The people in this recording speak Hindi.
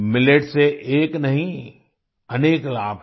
मिलेट्स से एक नहीं अनेक लाभ हैं